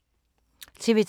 TV 2